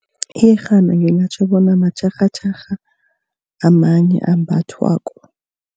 Iyerhana ngingatjho bona matjharhatjharha amanye ambathwako.